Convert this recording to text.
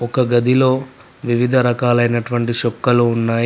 ఒక గదిలో వివిధ రకాలైనటువంటి షొక్కలు ఉన్నాయి.